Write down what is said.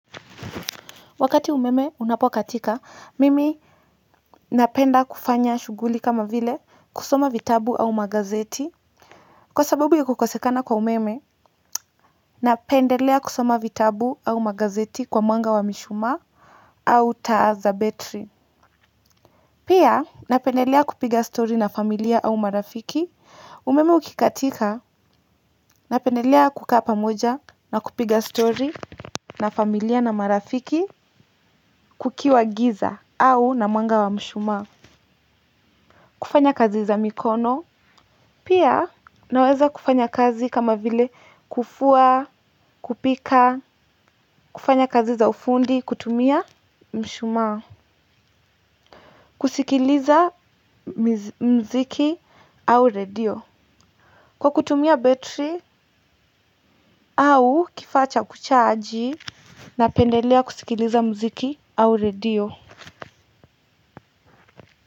Wakati umeme unapokatika, mimi napenda kufanya shughuli kama vile kusoma vitabu ama magazeti, kwa sababu ya kukosekana kwa umeme napendelea kusoma vitabu au magazeti kwa mwanga wa mishumaa au taa za betri pia, napendelea kupiga story na familia au marafiki umeme ukikatika, napendelea kukaa moja na kupiga story na familia na marafiki kukiwa giza au na mwanga wa mshumaa kufanya kazi za mikono, pia naweza kufanya kazi kama vile kufua, kupika, kufanya kazi za ufundi, kutumia mshumaa kusikiliza mziki au radio kwa kutumia betri au kifaa cha kuchaji napendelea kusikiliza mziki au radio.